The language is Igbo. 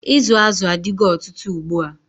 Izu azụ adigo ọtụtụ ugbua.